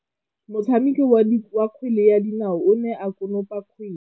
Motshameki wa kgwele ya dinaô o ne a konopa kgwele.